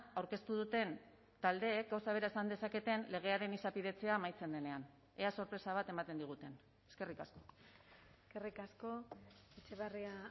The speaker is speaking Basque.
aurkeztu duten taldeek gauza bera esan dezaketen legearen izapidetzea amaitzen denean ea sorpresa bat ematen diguten eskerrik asko eskerrik asko etxebarria